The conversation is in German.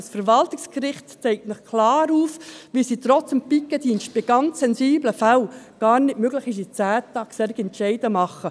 Das Verwaltungsgericht zeigt Ihnen klar auf, dass es, trotz Pikettdienst, bei sehr sensiblen Fällen gar nicht möglich ist, innert zehn Tagen solche Entscheide zu fällen.